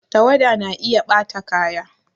Tawada na iya ɓata kaya